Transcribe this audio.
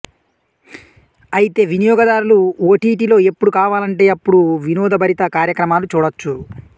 అయితే వినియోగదారులు ఓటీటీలో ఎప్పుడు కావాలంటే అప్పుడు వినోదభరిత కార్యక్రమాలు చూడొచ్చు